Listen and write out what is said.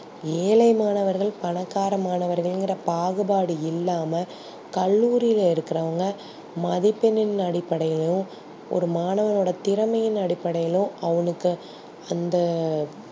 ஏழை மாணவர்கள் பணக்கார மாணவர்கள் ங்குற பாகுபாடு இல்லா கல்லூரியில இருக்குறவங்க மதிப்பெண் அடிப்படையிலும் ஒரு மாணவனோட திறமை அடிப்படையிலும் அவுக்க அந்த